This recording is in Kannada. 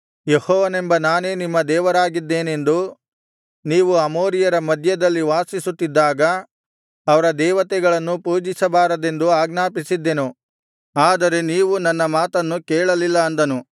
ಯೆಹೋವನೆಂಬ ನಾನೇ ನಿಮ್ಮ ದೇವರಾಗಿದ್ದೇನೆಂದೂ ನೀವು ಅಮೋರಿಯರ ಮಧ್ಯದಲ್ಲಿ ವಾಸಿಸುತ್ತಿದ್ದಾಗ ಅವರ ದೇವತೆಗಳನ್ನು ಪೂಜಿಸಬಾರದೆಂದೂ ಆಜ್ಞಾಪಿಸಿದ್ದೆನು ಆದರೆ ನೀವು ನನ್ನ ಮಾತನ್ನು ಕೇಳಲಿಲ್ಲ ಅಂದನು